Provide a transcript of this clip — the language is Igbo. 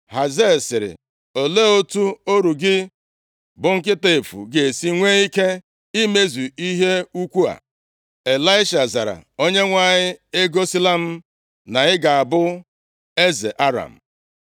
Hazael sịrị, “Olee otu ọrụ gị, bụ nkịta efu, ga-esi nwee ike imezu ihe ukwuu a?” Ịlaisha zara, “ Onyenwe anyị egosila m na ị ga-abụ eze Aram.”